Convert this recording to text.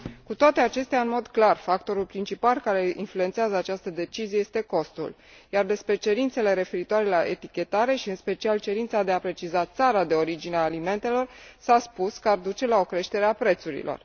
Cu toate acestea, în mod clar, factorul principal care influențează această decizie este costul, iar despre cerințele referitoare la etichetare și, în special, cerința de a preciza țara de origine a alimentelor, s a spus că ar duce la o creștere a prețurilor.